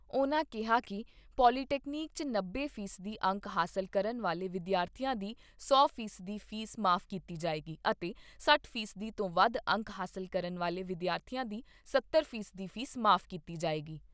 ਉਨ੍ਹਾਂ ਕਿਹਾ ਕਿ ਪੋਲੀਟੈਕਨਿਕ 'ਚ ਨੱਬੇ ਫ਼ੀਸਦੀ ਅੰਕ ਹਾਸਲ ਕਰਨ ਵਾਲੇ ਵਿਦਿਆਰਥੀਆਂ ਦੀ ਸੌ ਫੀਸਦੀ ਫੀਸ ਮਾਫ਼ ਕੀਤੀ ਜਾਏਗੀ ਅਤੇ ਸੱਤਰ ਫੀਸਦੀ ਤੋਂ ਵੱਧ ਅੰਕ ਹਾਸਲ ਕਰਨ ਵਾਲੇ ਵਿਦਿਆਰਥੀਆਂ ਦੀ ਸੱਤਰ ਫੀਸਦੀ ਫੀਸ ਮਾਫ਼ ਕੀਤੀ ਜਾਏਗੀ।